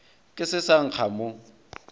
ke se sa nkga mo